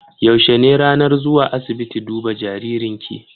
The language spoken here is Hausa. Yaushe ne ranar zuwa asiibiti duba jaririn ki?